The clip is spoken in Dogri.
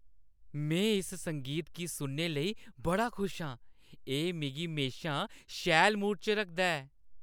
में इस संगीत गी सुनने लेई बड़ा खुश आं। एह् मिगी म्हेशा शैल मूड च रखदा ऐ।